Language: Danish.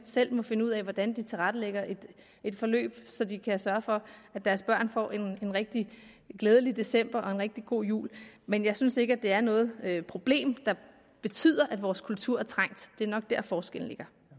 selv må finde ud af hvordan de tilrettelægger et forløb så de kan sørge for at deres børn får en rigtig glædelig december og en rigtig god jul men jeg synes ikke det er noget problem der betyder at vores kultur er trængt det er nok dér forskellen